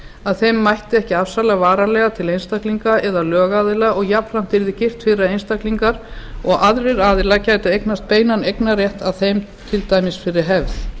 að þeim mætti ekki afsala varanlega til einstaklinga eða lögaðila og jafnframt yrði girt fyrir að einstaklingar og aðrir aðilar gætu eignast beinan eignarrétt að þeim til dæmis fyrir hefð